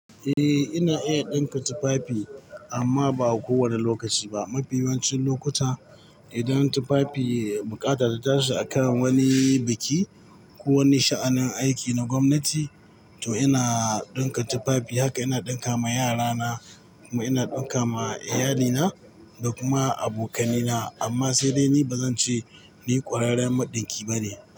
Eh, ina iya ɗinka tufafi amma ba a kowane lokaci ba. Mafi yawancin lokuta idan tufafi buƙata ta taso a kan wani biki ko wani sha'anin aiki na gwamnati, to ina ɗinka tufafi. Haka ina ɗinka ma yarana, kuma ina ɗinka ma iyalina da kuma abokanai na. Amma sai dai ni ba zan ce ni ƙwararren maɗinki ba ne.